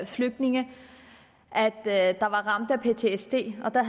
flygtninge der er ramt af ptsd og der